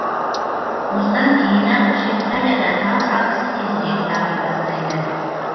осыдан кейін ақ швейцария да тау шаңғысы тезірек дами бастайды